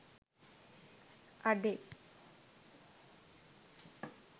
අඩේ